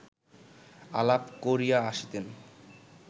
আলাপ করিয়া আসিতেন